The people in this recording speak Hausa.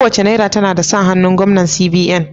Kowace Naira tana da sa hannun Gwamnan CBN.